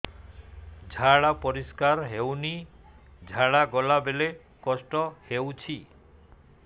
ଝାଡା ପରିସ୍କାର ହେଉନି ଝାଡ଼ା ଗଲା ବେଳେ କଷ୍ଟ ହେଉଚି